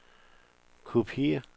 kopiér